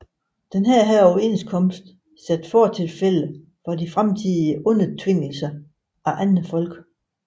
Denne overenskomst satte fortilfælde for fremtidige undertvingelser af andre folk